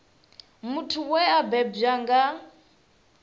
muthu we a bebwa na